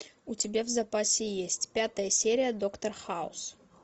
у тебя в запасе есть пятая серия доктор хаус